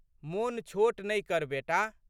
मोन छोट नहि कर बेटा।